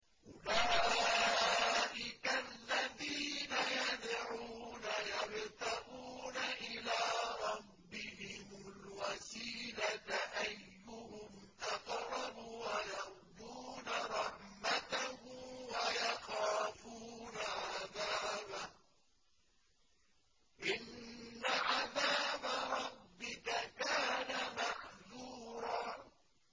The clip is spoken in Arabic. أُولَٰئِكَ الَّذِينَ يَدْعُونَ يَبْتَغُونَ إِلَىٰ رَبِّهِمُ الْوَسِيلَةَ أَيُّهُمْ أَقْرَبُ وَيَرْجُونَ رَحْمَتَهُ وَيَخَافُونَ عَذَابَهُ ۚ إِنَّ عَذَابَ رَبِّكَ كَانَ مَحْذُورًا